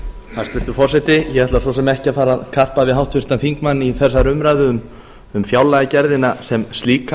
hæstvirtur forseti ég ætla svo sem ekki að fara að karpa við háttvirtan þingmann í þessari umræðu um fjárlagagerðina sem slíka